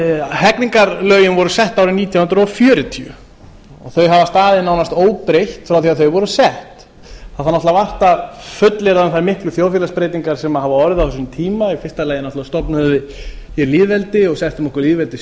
hegningarlögin voru sett árið nítján hundruð fjörutíu þau hafa staðið nánast óbreytt frá því þau voru sett það þarf náttúrulega vart að fullyrða um þær miklu þjóðfélagsbreytingar sem hafa orðið á þessum tíma í fyrsta lagi náttúrulega stofnuðum við hér lýðveldi og settum okkur